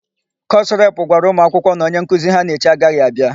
Kọsụ repụ gwara ụmụakwụkwọ na onyenkuzi ha na-eche agaghị abịa.